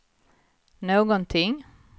någonting